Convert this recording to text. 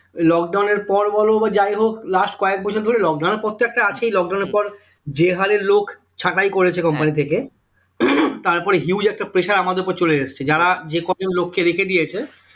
Lock down এর পর বল বা যাই হোক last কয়েক বছর ধরে lock down এর পর তো একটা আছেই lock down এর পর যে হারে লোক ছাঁটাই করেছে company থেকে তারপরে huge একটা pressure আমাদের উপর চলে এসেছে যারা যে কজন লোককে রেখে দিয়েছে